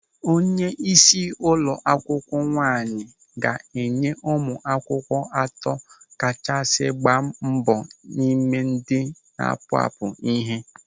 Onyeisi ụlọ akwụkwọ nwaanyị ga-enye ụmụ akwụkwọ atọ kachasị gbaa mbọ n'ime ndị na-apụapụ ịhe.